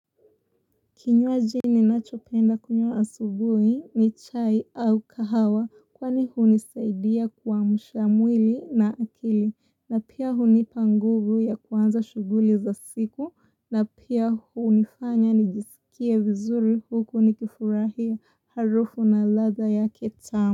Kinywaji ninachopenda kunywa asubuhi ni chai au kahawa kwani hunisaidia kuamsha mwili na akili na pia hunipa nguvu ya kuanza shughuli za siku. Na pia hunifanya nijisikie vizuri huko nikifurahia harufu na ladha yake tamu.